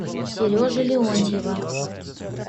сережи леонтьева